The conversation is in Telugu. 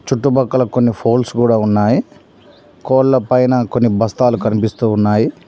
చుట్టుపక్కల కొన్ని ఫోల్స్ కూడా ఉన్నాయి కోళ్లపైన కొన్ని బస్తాలు కనిపిస్తూ ఉన్నాయి.